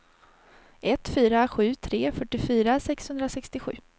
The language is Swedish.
ett fyra sju tre fyrtiofyra sexhundrasextiosju